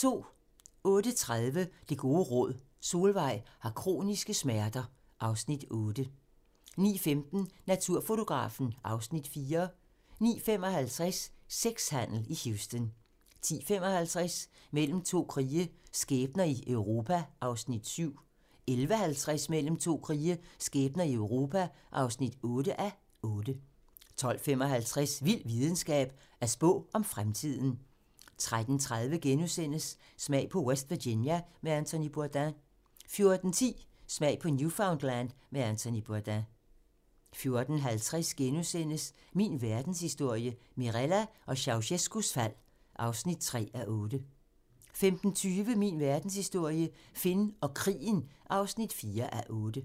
08:30: Det gode råd: Solvejg har kroniske smerter (Afs. 8) 09:15: Naturfotografen (Afs. 4) 09:55: Sexhandel i Houston 10:55: Mellem to krige - skæbner i Europa (7:8) 11:50: Mellem to krige - skæbner i Europa (8:8) 12:45: Vild videnskab: At spå om fremtiden 13:30: Smag på West Virginia med Anthony Bourdain * 14:10: Smag på Newfoundland med Anthony Bourdain 14:50: Min verdenshistorie - Mirella og Ceaucescaus fald (3:8)* 15:20: Min verdenshistorie - Finn og krigen (4:8)